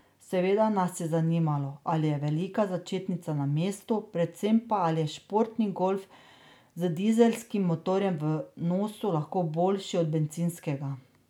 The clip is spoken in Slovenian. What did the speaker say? Seveda nas je zanimalo, ali je velika začetnica na mestu, predvsem pa, ali je športni golf z dizelskim motorjem v nosu lahko boljši od bencinskega.